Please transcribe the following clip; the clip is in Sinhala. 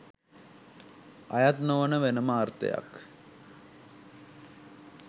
අයත් නොවන වෙනම අර්ථයක්